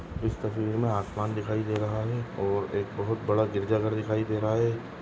इस तस्वीर मे आसमान दिखाई दे रहा है और एक बहुत बड़ा गिरजाघर दिखाई दे रहा है।